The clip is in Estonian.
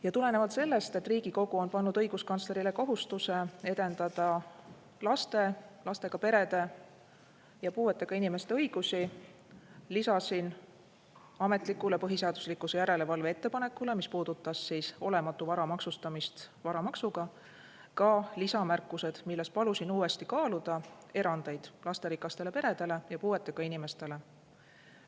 Ja tulenevalt sellest, et Riigikogu on pannud õiguskantslerile kohustuse edendada laste, lastega perede ja puuetega inimeste õigusi, lisasin ametlikule põhiseaduslikkuse järelevalve ettepanekule, mis puudutas olematu vara maksustamist varamaksuga, ka lisamärkused, milles palusin uuesti kaaluda erandeid lasterikastele peredele ja puuetega inimestele.